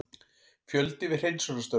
Fjöldi við hreinsunarstörf